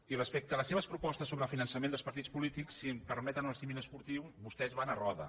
i respecte a les seves propostes sobre el finançament dels partits polítics si em permeten el símil esportiu vostès van a roda